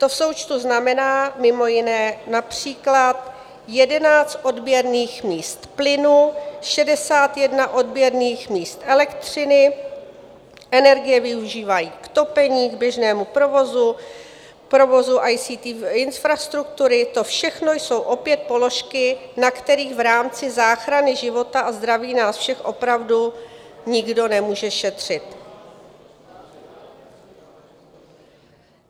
To v součtu znamená mimo jiné například 11 odběrných míst plynu, 61 odběrných míst elektřiny, energie využívají k topení, k běžnému provozu, provozu ICT infrastruktury, to všechno jsou opět položky, na kterých v rámci záchrany života a zdraví nás všech opravdu nikdo nemůže šetřit.